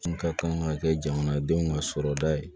N ka kan ka kɛ jamana denw ka sɔrɔda ye